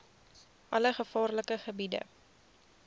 alle gevaarlike gebiede